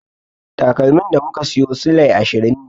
Takalmin da muka siyo silai ashirin ne.